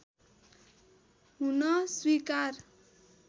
हुन स्वीकार